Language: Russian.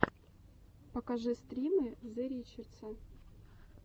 покажи стримы зе ричеста